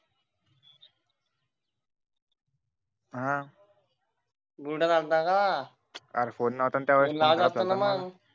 हम्म बुलढाण्यात आला होता का अरे लाज वाटते ना मग